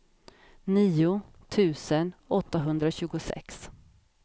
nio tusen åttahundratjugosex